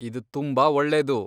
ಇದ್ ತುಂಬಾ ಒಳ್ಳೇದು.